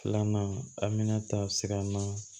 Filanan a minɛn ta siran na